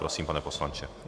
Prosím, pane poslanče.